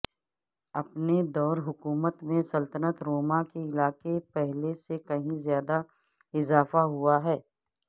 اپنے دور حکومت میں سلطنت روما کے علاقے پہلے سے کہیں زیادہ اضافہ ہوا ہے